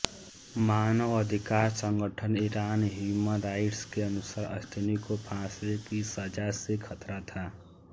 मानवाधिकार संगठन Iran human rights के अनुसार अश्तिनी को फांसी की सजा से खतरा था